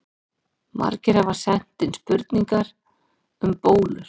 Margir hafa sent inn spurningu um bólur.